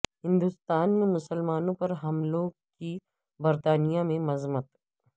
ہندوستان میں مسلمانوں پر حملوں کی برطانیہ میں مذمت